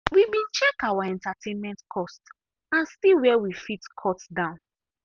we been check our entertainment cost and see where we fit cut down.